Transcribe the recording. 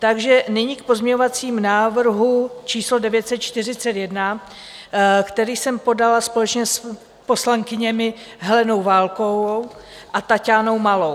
Takže nyní k pozměňovacímu návrhu číslo 941, který jsem podala společně s poslankyněmi Helenou Válkovou a Taťánou Malou.